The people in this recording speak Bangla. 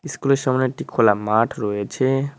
ইস্কুলের সামনে একটি খোলা মাঠ রয়েছে।